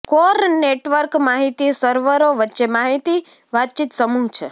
core network માહિતી સર્વરો વચ્ચે માહિતી વાતચીત સમૂહ છે